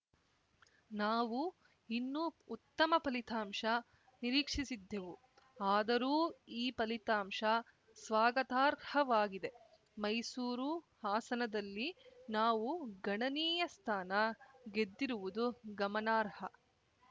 ನಾವು ಇನ್ನೂ ಉತ್ತಮ ಫಲಿತಾಂಶ ನಿರೀಕ್ಷಿಸಿದ್ದೆವು ಆದರೂ ಈ ಫಲಿತಾಂಶ ಸ್ವಾಗತಾರ್ಹವಾಗಿದೆ ಮೈಸೂರು ಹಾಸನದಲ್ಲಿ ನಾವು ಗಣನೀಯ ಸ್ಥಾನ ಗೆದ್ದಿರುವುದು ಗಮನಾರ್ಹ